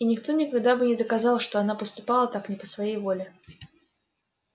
и никто никогда бы не доказал что она поступала так не по своей воле